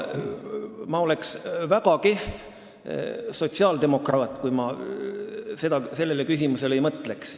Ma oleksin väga kehv sotsiaaldemokraat, kui ma sellele ei mõtleks.